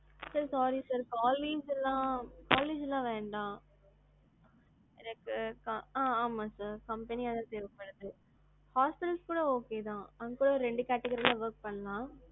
sir sorry sir, college எல்லாம், college எல்லாம் வேண்டாம். எனக்கு ஆ ஆமா sir company யா தான் வேணும். hospitals கூட okay தான். அங்கக்கூட ரெண்டு category ல work பண்ணலாம்.